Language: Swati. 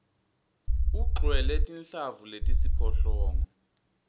ugcwele tinhlavu letisiphohlongo